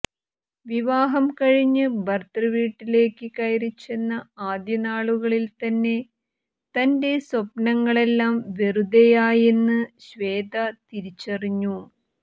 വിവാഹം കഴിഞ്ഞ് ഭർത്തൃ വീട്ടിലേക്ക് കയറിച്ചെന്ന ആദ്യ നാളുകളിൽ തന്നെ തന്റെ സ്വപ്നങ്ങളെല്ലാം വെറുതെയായെന്ന് ശ്വേത തിരിച്ചറിഞ്ഞു